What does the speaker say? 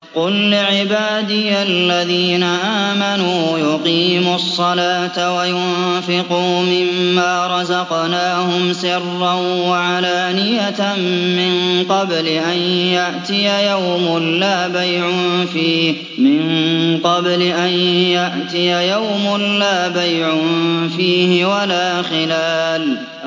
قُل لِّعِبَادِيَ الَّذِينَ آمَنُوا يُقِيمُوا الصَّلَاةَ وَيُنفِقُوا مِمَّا رَزَقْنَاهُمْ سِرًّا وَعَلَانِيَةً مِّن قَبْلِ أَن يَأْتِيَ يَوْمٌ لَّا بَيْعٌ فِيهِ وَلَا خِلَالٌ